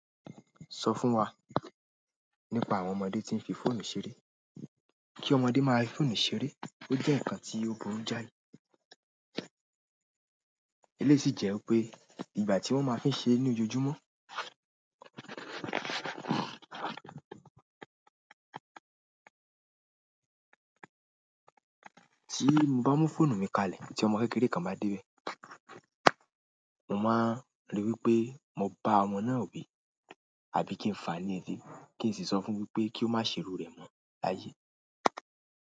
Sọ fún wa nípa àwọn ọmọdé tí ń fi fóònù ṣeré. Kí ọmọdé máa fi fóònù ṣeré, ó jẹ́ nǹkan tí o boru jái. Eléyìí sì jẹ́ pé ìgbà tí wọ́n máa fi ń ṣe é ní ojojúmọ́. Tí mo bá mú fóònù mi kalẹ̀ tí ọmọ kékeré kan bá dé bẹ̀, mo máa rí wí pé mo bá ọmọ náà wí àbí kí n fàá ní ele, kí n sì sọ fún wí pé kí ó má ṣe irù rẹ̀ mọ́ láyé.